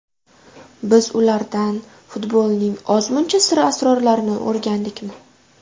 Biz ulardan futbolning ozmuncha sir-asrorlarini o‘rgandikmi?